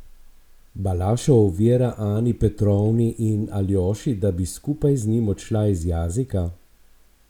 Balašov ovira Ani Petrovni in Aljoši, da bi skupaj z njim odšla iz Jazika?